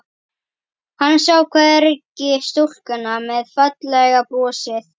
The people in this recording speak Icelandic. Hann sá hvergi stúlkuna með fallega brosið.